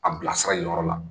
A bilasira yen yɔrɔ la